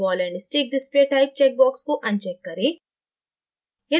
ball and stick display type checkbox को uncheck करें